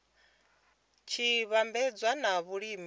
tshi vhambedzwa na vhulimi vhune